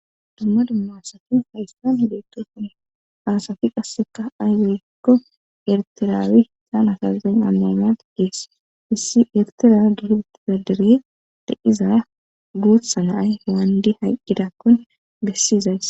dumma dummasati hayssan beetto kon aasafi qasseka ayzilekko ertiraawi tana sazen ammamati gees issi ertiraa gihbut gadire daiza guuthsa naay waandi haqqidakkon bessiizays